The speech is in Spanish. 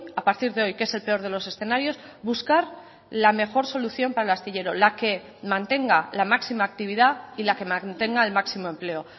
a partir de hoy que es el peor de los escenarios buscar la mejor solución para el astillero la que mantenga la máxima actividad y la que mantenga el máximo empleo